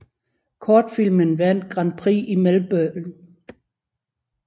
Kortfilmen vandt Grand Prix i Melbourne